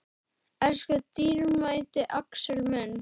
Elsku dýrmæti Axel minn.